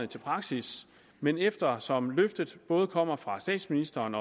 til praksis men eftersom løftet både kommer fra statsministeren